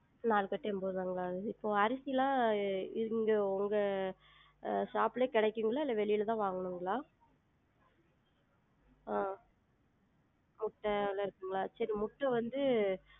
நாலு கட்டு என்பது ருவாங்களா? இப்ப அரிசிலாம் இங்க உங்க அஹ் shop லையே கெடைக்குங்களா இல்ல வெளில தான் வாங்கனுங்களா? ஆஹ் முட்ட அதெல்லாம் இருக்குங்களா சேரி முட்ட வந்து